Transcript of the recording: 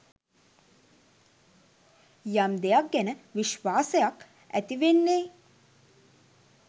යම් දෙයක් ගැන විශ්වාසයක් ඇති වෙන්නේ